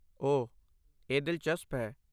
ਓਹ, ਇਹ ਦਿਲਚਸਪ ਹੈ।